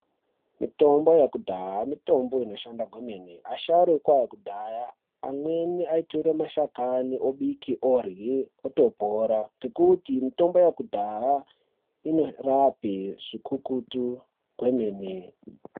Mitombo yekudhaya mitombo inoshanda kwemene asharuka ekudhaya amweni aitora mashakani obike orye opora nekuti mitombo yekudhaya inorape zvikukutu kwemene .